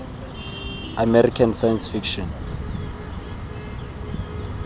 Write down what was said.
american science fiction